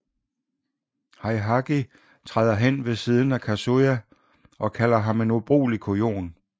Heihachi træder hen ved siden af Kazuya og kalder ham en ubrugelig kujon